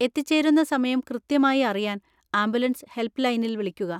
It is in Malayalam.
എത്തിച്ചേരുന്ന സമയം കൃത്യമായി അറിയാൻ ആംബുലൻസ് ഹെൽപ്പ് ലൈനിൽ വിളിക്കുക.